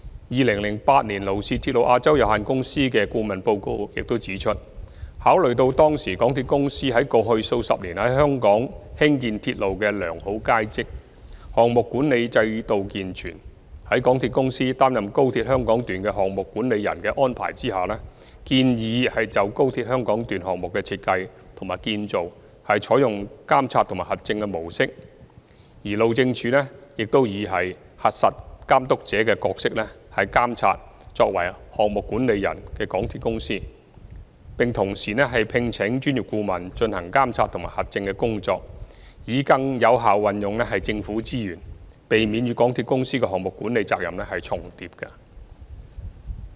2008年勞氏鐵路亞洲有限公司的顧問報告中指出，考慮到當時港鐵公司於過去數十年在香港興建鐵路的良好往績，項目管理制度健全，在港鐵公司擔任高鐵香港段的"項目管理人"的安排下，建議就高鐵香港段項目的設計和建造採用"監察和核證"的模式，而路政署亦以"核實監督者"的角色監察作為"項目管理人"的港鐵公司，並同時聘請專業顧問進行監察和核證的工作，以更有效運用政府資源，避免與港鐵公司的項目管理責任重疊。